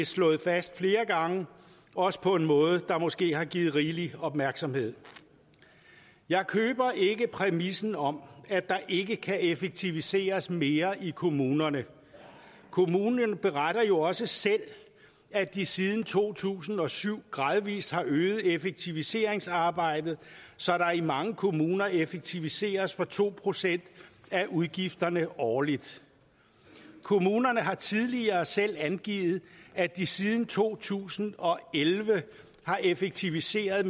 slået fast flere gange også på en måde der måske har givet rigelig opmærksomhed jeg køber ikke præmissen om at der ikke kan effektiviseres mere i kommunerne kommunerne beretter jo også selv at de siden to tusind og syv gradvis har øget effektiviseringsarbejdet så der i mange kommuner effektiviseres for to procent af udgifterne årligt kommunerne har tidligere selv angivet at de siden to tusind og elleve har effektiviseret